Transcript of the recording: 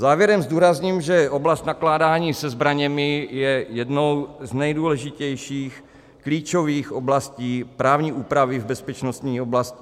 Závěrem zdůrazním, že oblast nakládání se zbraněmi je jednou z nejdůležitějších, klíčových oblastí právní úpravy v bezpečnostní oblasti.